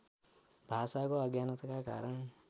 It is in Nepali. भाषाको अज्ञानताका कारण